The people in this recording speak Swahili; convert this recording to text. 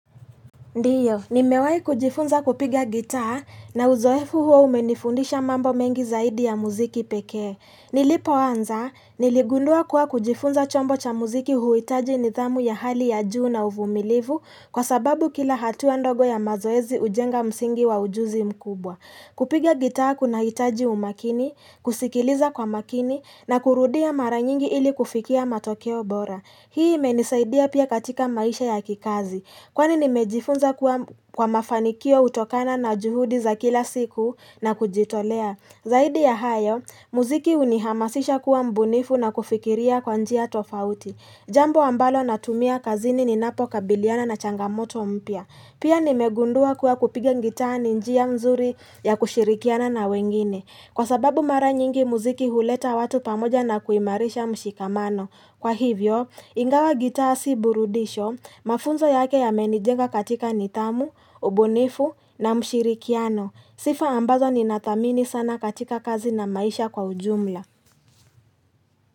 Ndiyo, ni mewai kujifunza kupiga gitaa na uzoefu huo umenifundisha mambo mengi zaidi ya muziki pekee. Nilipo anza, niligundua kuwa kujifunza chombo cha muziki huhitaji nidhamu ya hali ya juu na uvumilivu kwa sababu kila hatuwa ndogo ya mazoezi hujenga msingi wa ujuzi mkubwa. Kupiga gitaa kuna hitaji umakini, kusikiliza kwa makini na kurudia mara nyingi ili kufikia matokeo bora. Hii imenisaidia pia katika maisha ya kikazi. Kwani nimejifunza kwa mafanikio hutokana na juhudi za kila siku na kujitolea. Zaidi ya hayo, muziki hunihamasisha kuwa mbunifu na kufikiria kwa njia tofauti. Jambo ambalo natumia kazini ninapo kabiliana na changamoto mpia. Pia nimegundua kuwa kupiga ngitaa ni njia mzuri ya kushirikiana na wengine. Kwa sababu mara nyingi muziki huleta watu pamoja na kuimarisha mshikamano. Kwa hivyo, ingawa gitaa si burudisho, mafunzo yake ya menijenga katika nidhamu, ubunifu na mshirikiano. Sifa ambazo ni nathmini sana katika kazi na maisha kwa ujumla.